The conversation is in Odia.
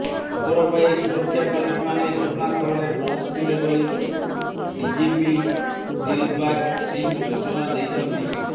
ଖବର ପାଇ ସୁରକ୍ଷାକର୍ମୀମାନେ ଘଟଣାସ୍ଥଳରେ ପହଞ୍ଚିଥିଲେ ବୋଲି ଡିଜିପି ଦିଲବାଗ ସିଂହ ସୁଚନା ଦେଇଛନ୍ତି